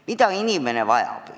Mida inimene vajab?